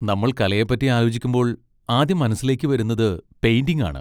നമ്മൾ കലയെപ്പറ്റി ആലോചിക്കുമ്പോൾ ആദ്യം മനസ്സിലേക്ക് വരുന്നത് പെയിന്റിങ് ആണ്.